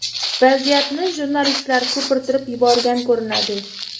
Vaziyatni jurnalistlar ko‘pirtirib yuborgan ko‘rinadi.